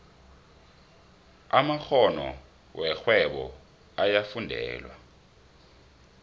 amakgono werhwebo ayafundelwa